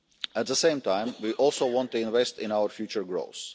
At the same time, we also want to invest in our future growth.